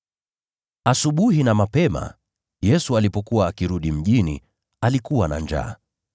Asubuhi na mapema, Yesu alipokuwa akirudi mjini, alikuwa na njaa.